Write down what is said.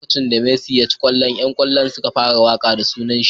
A lokacin da Messi ya ci kwallon yan kallon suka fara waka da sunanshi.